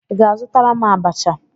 Ị ga-azụtara m abacha?